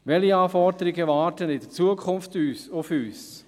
Welche Anforderungen warten in Zukunft auf uns?